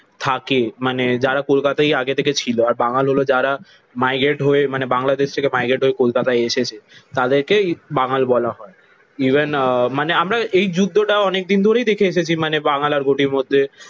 থাকে মানে যারা কলকাতায় আগে থেকে ছিল। আর বাঙাল হলো যারা মাইগ্রেট হয়ে মানে বাংলাদেশ থেকে মাইগ্রেট হয়ে কলকাতায় এসেছে তাদেরকে বাঙাল বলা হয়। ইভেন আহ মানে আমরা এই যুদ্ধটা অনেকদিন ধরেই দেখে এসেছি মানে বাঙাল ঘটির মধ্যে।